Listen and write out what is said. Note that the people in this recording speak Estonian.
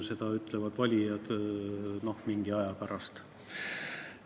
Seda ütlevad valijad mingi aja pärast.